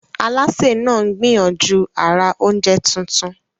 Alásè náà ń gbìyànjú àrà oúnjẹ tuntun.